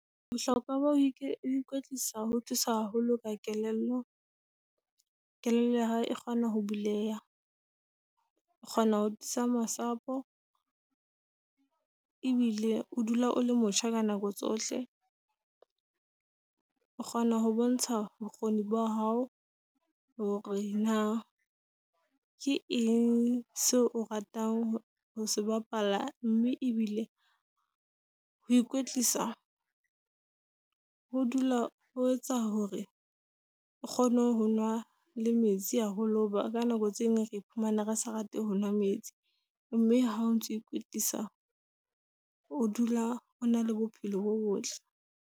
Bohlokwa ba ho ikwetlisa ho thusa haholo ka kelello. Kelello ya hao e kgona ho buleha, o kgona ho tiisa masapo , ebile o dula o le motjha ka nako tsohle. O kgona ho bontsha bokgoni ba hao hore na ke eng seo o ratang ho se bapala. Mme ebile ho ikwetlisa ho dula ho etsa hore o kgone ho nwa le metsi haholo. Hoba ka nako tse ding re iphumane re sa rate ho nwa metsi. Mme ha o ntso ikwetlisa, o dula ona le bophelo bo botle.